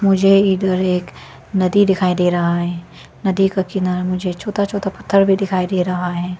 मुझे इधर एक नदी दिखाई दे रहा है नदी का किनार मुझे छोटा छोटा पत्थर भी दिखाई दे रहा है।